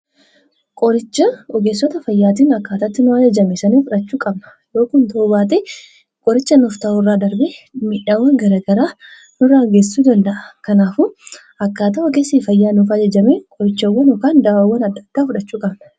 Qoricha ogessota fayyaatiin akkaatatti nuf ajajame sanii fudhachuu qabna yoo kun ta'uu baate qoricha nuf taa'u irraa darbe miidhawwa garagaraa nurraan geessisuu danda'a kanaafuu akkaataa ogessii fayyaa nuuf ajajame qorichowwan yookaan dawwaan addaa fudhachuu qabna.